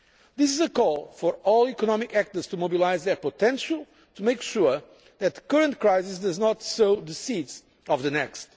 This is a call for all economic actors to mobilise their potential to make sure that the current crisis does not sow the seeds of the next.